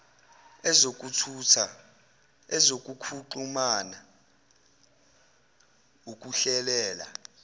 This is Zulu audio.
ezokuthutha ezokuxhumana ukuhlelela